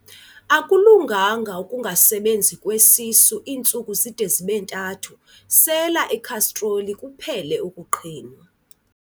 Akulunganga ukungasebenzi kwesisu iintsuku zide zibe ntathu, sela ikhastroli kuphele ukuqhinwa.